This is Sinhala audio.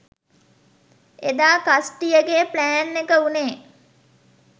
එදා කස්ටියගෙ ප්ලෑන්එක උනේ